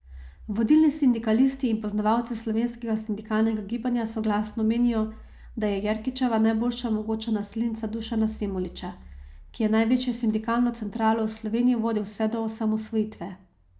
Vodilni sindikalisti in poznavalci slovenskega sindikalnega gibanja soglasno menijo, da je Jerkičeva najboljša mogoča naslednica Dušana Semoliča, ki je največjo sindikalno centralo v Sloveniji vodil vse od osamosvojitve.